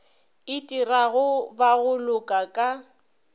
itirago ba go loka ka